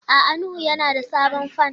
A'a Nuhu yana da sabon fan.